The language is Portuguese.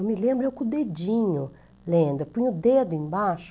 Eu me lembro eu com o dedinho lendo, eu punho o dedo embaixo.